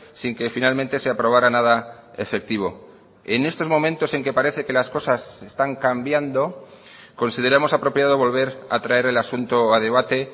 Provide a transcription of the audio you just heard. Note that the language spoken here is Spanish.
sin que finalmente se aprobara nada efectivo en estos momentos en que parece que las cosas están cambiando consideramos apropiado volver a traer el asunto a debate